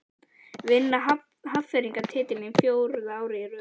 Vinna Hafnfirðingar titilinn fjórða árið í röð?